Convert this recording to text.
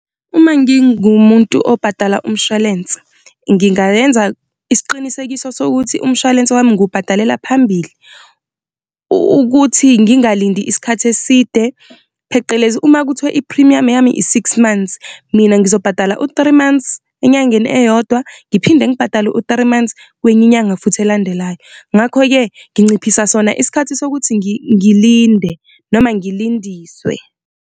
Uma ngingumuntu obhadala umshwalense, ngingayenza isiqinisekiso sokuthi umshwalense wami ngubhadalela phambili ukuthi ngingalindi isikhathi eside pheqelezi uma kuthiwa iphrimuyamu yami i-six months, mina ngizobhadala u-three months enyangeni eyodwa, ngiphinde ngibhadale u-three months kwenye inyanga futhi elandelayo. Ngakho-ke, nginciphisa sona isikhathi sokuthi ngilinde noma ngilindiswe.